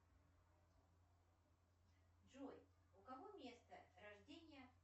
джой у кого место рождения